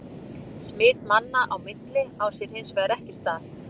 Smit manna á milli á sér hins vegar ekki stað.